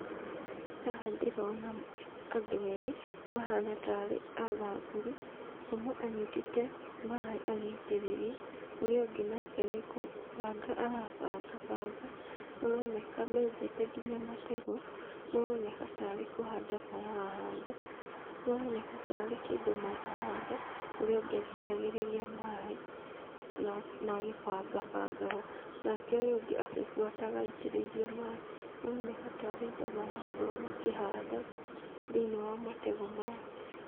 Haha ndĩrona andũ erĩ mahana tarĩ athamburu, ũmwe anyitĩte maĩ agĩitĩrĩria, ũrĩa ũngĩ nake nĩ gũbanga arabangabanga, maroneka menjete nginya mategũ, maroneka tarĩ kũhanda marahanda, maroneka tarĩ kĩndũ marahanda, ũrĩa ũngĩ agĩitagĩrĩria maĩ na agĩbangabangaga, nake ũyũ ũngĩ agĩbuataga aitĩrĩirie maĩ, maroneka tarĩ indo marakorwo makĩhanda thĩinĩ wa mategũ maya.